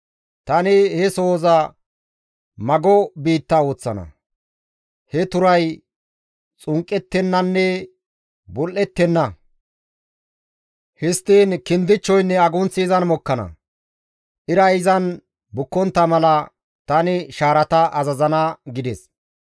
Tani he sohoza mago biitta ooththana. He turay xunqqettenanne bul7ettenna; Histtiin kindichchoynne agunththi izan mokkana. Iray izan bukkontta mala, tani shaarata azazana» gides.